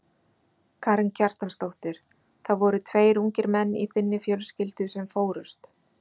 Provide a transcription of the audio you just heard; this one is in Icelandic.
Karen Kjartansdóttir: Það voru tveir ungir menn í þinni fjölskyldu sem fórust?